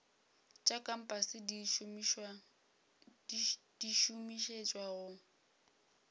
tša kompase di šomišetšwa go